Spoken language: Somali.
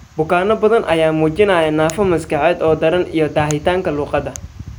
Bukaanno badan ayaa muujinaya naafo maskaxeed oo daran, iyo daahitaanka luqadda.